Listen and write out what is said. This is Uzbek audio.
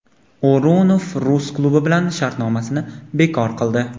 O‘runov rus klubi bilan shartnomasini bekor qildi.